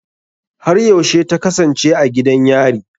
Har yaushe ta kasance a gidan yari?